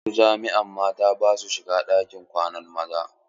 A wasu jami'a mata ba sua shiga ɗakin kwanan maza.